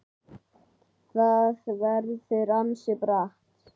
Það verður ansi bratt.